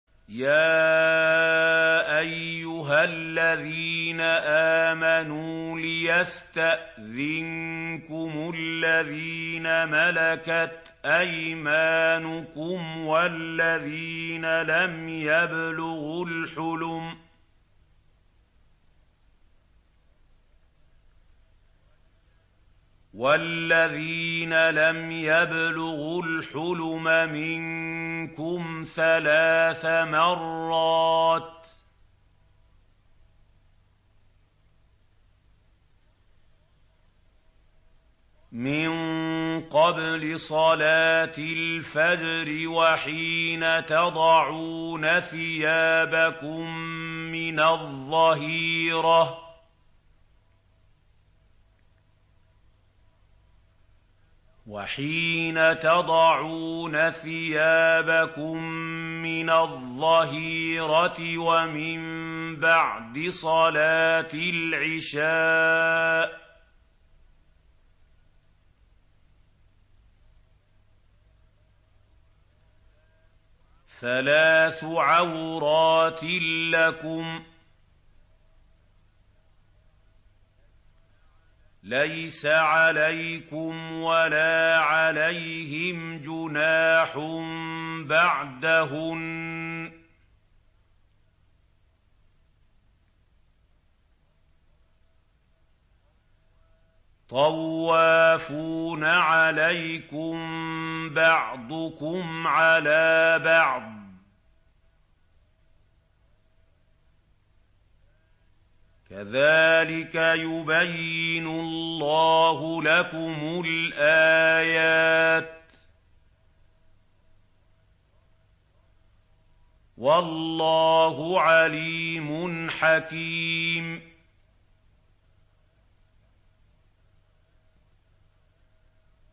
يَا أَيُّهَا الَّذِينَ آمَنُوا لِيَسْتَأْذِنكُمُ الَّذِينَ مَلَكَتْ أَيْمَانُكُمْ وَالَّذِينَ لَمْ يَبْلُغُوا الْحُلُمَ مِنكُمْ ثَلَاثَ مَرَّاتٍ ۚ مِّن قَبْلِ صَلَاةِ الْفَجْرِ وَحِينَ تَضَعُونَ ثِيَابَكُم مِّنَ الظَّهِيرَةِ وَمِن بَعْدِ صَلَاةِ الْعِشَاءِ ۚ ثَلَاثُ عَوْرَاتٍ لَّكُمْ ۚ لَيْسَ عَلَيْكُمْ وَلَا عَلَيْهِمْ جُنَاحٌ بَعْدَهُنَّ ۚ طَوَّافُونَ عَلَيْكُم بَعْضُكُمْ عَلَىٰ بَعْضٍ ۚ كَذَٰلِكَ يُبَيِّنُ اللَّهُ لَكُمُ الْآيَاتِ ۗ وَاللَّهُ عَلِيمٌ حَكِيمٌ